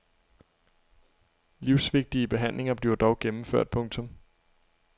Lisvigtige behandlinger bliver dog gennemført. punktum